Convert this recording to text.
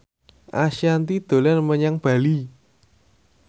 Ashanti dolan menyang Bali